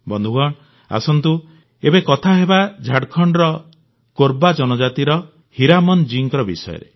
ବନ୍ଧୁଗଣ ଆସନ୍ତୁ ଏବେ କଥା ହେବା ଝାଡ଼ଖଣ୍ଡର କୋର୍ବା ଜନଜାତିର ହୀରାମନ ଜୀଙ୍କ ବିଷୟରେ